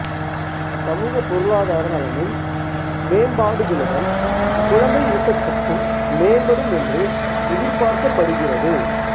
சமூகபொருளாதார நலனில் மேம்பாடுகளுடன் குழந்தை ஊட்டச்சத்தும் மேம்படும் என்று எதிர்பார்க்கப்படுகிறது